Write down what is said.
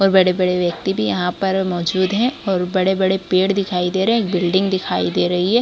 और बड़े-बड़े व्यक्ति भी यहाँ पर मौजूद है और बड़े-बड़े पेड़ दिखाई दे रहे बिल्डिंग दिखायी दे रही है।